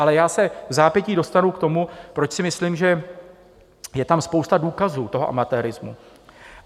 Ale já se vzápětí dostanu k tomu, proč si myslím, že je tam spousta důkazů toho amatérismu.